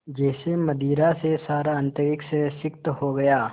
जैसे मदिरा से सारा अंतरिक्ष सिक्त हो गया